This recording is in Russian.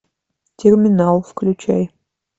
терминал включай